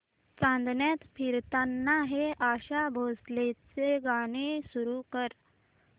चांदण्यात फिरताना हे आशा भोसलेंचे गाणे सुरू कर